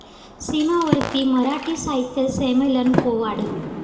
सीमावर्ती मराठी साहित्य संमेलन कोवाड